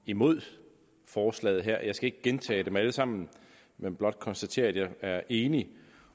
imod forslaget her jeg skal ikke gentage dem alle sammen men blot konstatere at jeg er enig